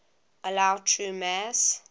allow true mass